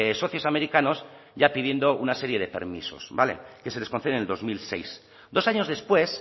socios americanos ya pidiendo una serie de permisos vale que se les concede en el dos mil seis dos años después